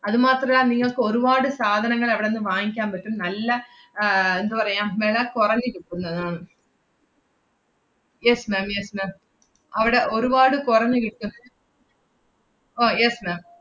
അതു മാത്രല്ല നിങ്ങൾക്ക് ഒരുവാട് സാധനങ്ങൾ അവടന്ന് വാങ്ങിക്കാൻ പറ്റും. നല്ല ആഹ് എന്തു പറയാം വെള കൊറഞ്ഞ് കിട്ടുന്ന~ yes ma'am yes ma'am അവടെ ഒരുവാട് കൊറഞ്ഞ് കിട്ടും ഓ yes ma'am